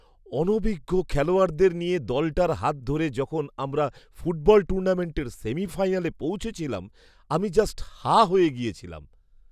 অনভিজ্ঞ খেলোয়াড়দের নিয়ে দলটার হাত ধরে যখন আমরা ফুটবল টুর্নামেন্টের সেমিফাইনালে পৌঁছেছিলাম আমি জাস্ট হাঁ হয়ে গেছিলাম!